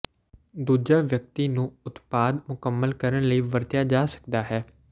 ਦੂਜਾ ਵਿਅਕਤੀ ਨੂੰ ਉਤਪਾਦ ਮੁਕੰਮਲ ਕਰਨ ਲਈ ਵਰਤਿਆ ਜਾ ਸਕਦਾ ਹੈ